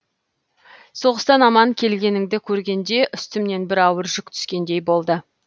соғыстан аман келгеніңді көргенде үстімнен бір ауыр жүк түскендей болды